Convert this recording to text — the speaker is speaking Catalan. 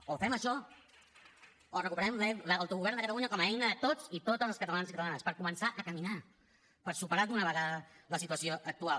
o fem això o recuperem l’autogovern de catalunya com a eina de tots i totes els catalans i catalanes per començar a caminar per superar d’una vegada la situació actual